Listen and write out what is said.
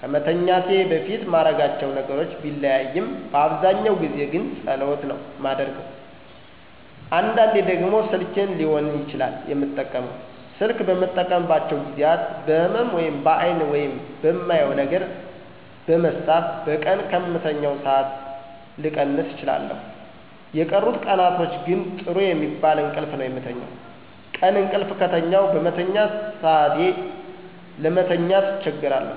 ከመተኛቴ በፊት ማረጋቸው ነገሮች ቢለያይም በአብዛኛው ጊዜ ግን ጸሎት ነው የማደርገው። አንዳንዴ ደግሞ ስልኬን ሊሆን ይችላል የምጠቀመው። ስልክ በምጠቀምባቸው ጊዜያት በህመም(በአይን) ወይም በማየው ነገር በመሳብ በቀን ከምተኛው ሠአት ልቀንስ እችላለሁ። የቀሩት ቀናቶች ግን ጥሩ የሚባል እንቅልፍ ነው የምተኛው። ቀን እቅልፍ ከተኛሁ በመተኛ ሰአቴ ለመተኛት አቸገራለሁ